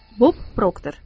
Bob Proctor.